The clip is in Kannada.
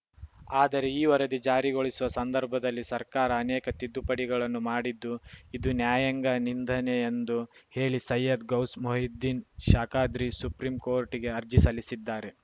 ಆದರೆ ಈ ವರದಿ ಜಾರಿಗೊಳಿಸುವ ಸಂದರ್ಭದಲ್ಲಿ ಸರ್ಕಾರ ಅನೇಕ ತಿದ್ದುಪಡಿಗಳನ್ನು ಮಾಡಿದ್ದು ಇದು ನ್ಯಾಯಾಂಗ ನಿಂದನೆ ಎಂದು ಹೇಳಿ ಸಯ್ಯದ್‌ ಗೌಸ್‌ ಮೊಹಿಯುದ್ದೀನ್‌ ಶಾಖಾದ್ರಿ ಸುಪ್ರೀಂ ಕೋರ್ಟ್‌ಗೆ ಅರ್ಜಿ ಸಲ್ಲಿಸಿದ್ದಾರೆ